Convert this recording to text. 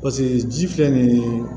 Paseke ji filɛ nin ye